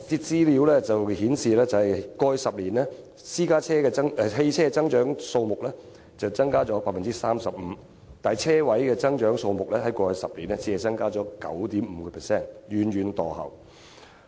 資料顯示，在過去10年，汽車增長率為 35%， 但泊車位增長率只有 9.5%， 遠遠墮後。